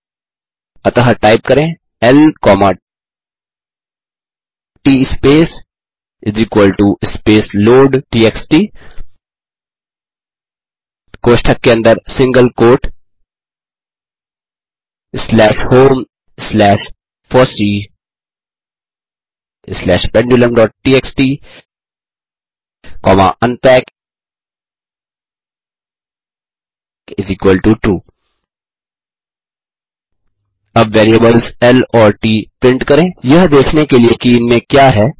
अतः टाइप करें ल ट स्पेस स्पेस लोड टीएक्सटी कोष्ठक के अंदर single quote slash home slash FOSSEE slash pendulumटीएक्सटी कॉमा unpackTrue अब वेरिएबल्स ल और ट प्रिंट करें यह देखने के लिए कि इनमें क्या है